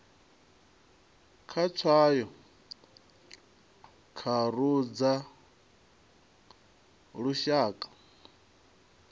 kha tswayo tharu dza lushaka